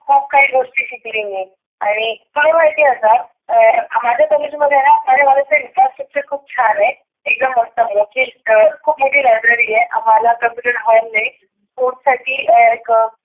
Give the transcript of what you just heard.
खुप काही गोष्टी शिकले मी. आणि काय महिती आता अं माझ्या कॉलेज मध्येना माझ्या कॉलेजच infrastructure खुप छान आहे. एकदम मोठ मोठे खुप मोठी library आहे, आम्हाला computer hall आहे. sports साठी एक अं